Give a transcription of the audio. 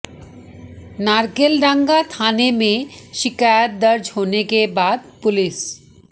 नारकेलडांगा थाना में शिकायत दर्ज होने के बाद पुलिस